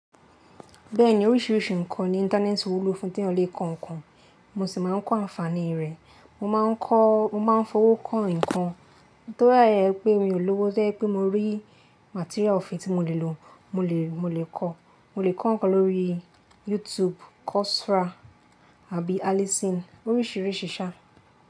Bẹ́ẹ̀ni oríṣìíríṣìí ǹkan ni Íńtánẹ́ẹ̀tì wúlò fún tí ẹ́ lè kọ ǹkan, mo sì máa ń kọ àǹfààní rẹ̀. Mo máa ń kọ́, mo máa ń fowó kọ́ ǹkan. To r àyẹ pé mi ò lówó jẹ́ pé mo rí material ofin tí mo lè lò, mo lè, mo lè kọ́, mo lè kọ́ ǹkan lórí YouTube, Coursera àbí Alison oríṣìíríṣìí ṣá.